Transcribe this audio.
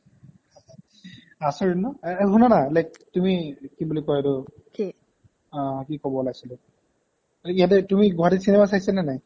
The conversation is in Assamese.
আচৰিত ন এ শুনা না like তুমি কি বুলি কই এইটো কি অ কি ক'ব ওলাইছিলো ইয়াতে তুমি গুৱাহাতিত cinema চাইছা নে নাই